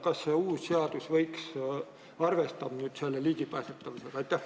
Kas see uus seadus arvestab nüüd ligipääsetavusega?